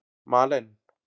Malen